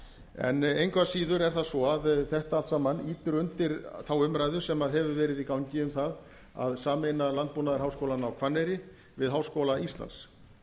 en engu að síður er það svo að þetta allt saman ýtir undir þá umræðu sem hefur verið í gangi um það að sameina landbúnaðarháskólann á hvanneyri við háskóla íslands